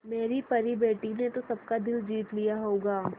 मेरी परी बेटी ने तो सबका दिल जीत लिया होगा